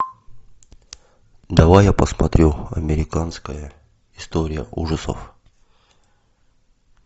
давай я посмотрю американская история ужасов